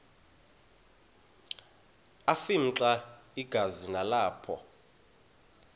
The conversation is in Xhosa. afimxa igazi nalapho